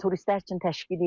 Turistlər üçün təşkil edirlər.